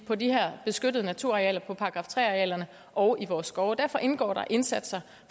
på de her beskyttede naturarealer § tre arealerne og i vores skove derfor indgår der indsatser